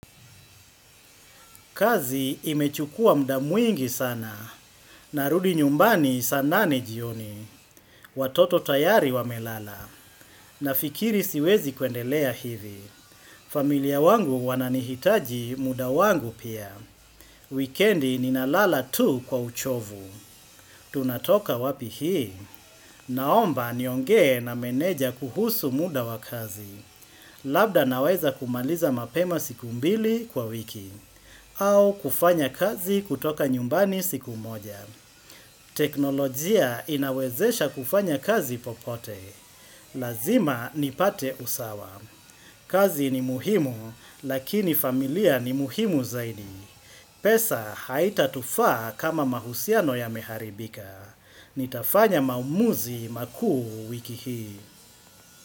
Kazi imechukua muda mwingi sana. Narudi nyumbani sana nane jioni. Watoto tayari wamelala. Na fikiri siwezi kuendelea hivi. Familia wangu wananihitaji muda wangu pia. Wikendi ninalala tu kwa uchovu. Tunatoka wapi hii. Naomba niongee na meneja kuhusu muda wa kazi. Labda naweza kumaliza mapema siku mbili kwa wiki. Au kufanya kazi kutoka nyumbani siku moja. Teknolojia inawezesha kufanya kazi popote. Lazima nipate usawa. Kazi ni muhimu, lakini familia ni muhimu zaidi. Pesa haitatufaa kama mahusiano yameharibika. Nitafanya maamuzi makuu wiki hii.